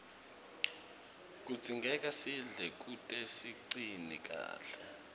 kudzingeka sidle kute sicine kahle